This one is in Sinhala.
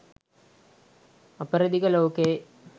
අපරදිග ලෝකයේ